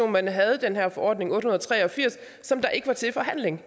man havde den her forordning otte hundrede og tre og firs som ikke var til forhandling